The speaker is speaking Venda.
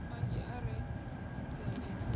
manzhi are na sisiṱeme thukhu